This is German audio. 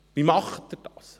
Wie macht er es?